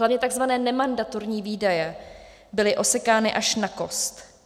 Hlavně tzv. nemandatorní výdaje byly osekány až na kost.